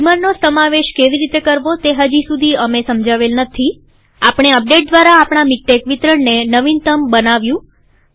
બીમરનો સમાવેશ કેવી રીતે કરવો તે હજી સુધી અમે સમજાવેલ નથીઆપણે અપડેટ દ્વારા આપણા મીક્ટેક વિતરણને નવીનતમ બનાવ્યું